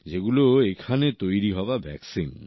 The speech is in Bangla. যেগুলো এখানেই তৈরি হওয়া ভ্যাকসিন